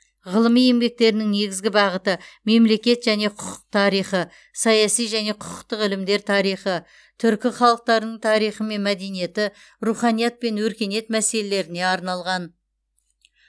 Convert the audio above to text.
ғылыми еңбектерінің негізгі бағыты мемлекет және құқық тарихы саяси және құқықтық ілімдер тарихы түркі халықтарының тарихы мен мәдениеті руханият пен өркениет мәселелеріне арналған